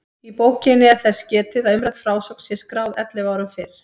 Í bókinni er þess getið að umrædd frásögn sé skráð ellefu árum fyrr.